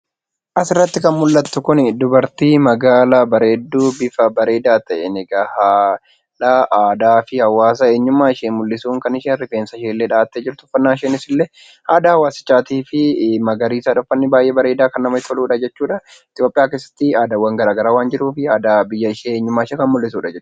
Asirratti kan mul'attu kun magaala bareedduu haala bareedaa ta'een aadaa fi eenyummaa hawaasa ishee mul'isuun kan isheen rifeensashee dhahattee jirtu uffannaan ishees illee aadaa hawaasichaatii fi magariisa kan namatti toludha. Itoophiyaa keessatti aadaawwan garaagaraa waan jiruuf aadaa biyyashee eenyummaashee kan mul'isudha.